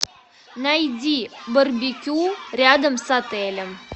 найди барбекю рядом с отелем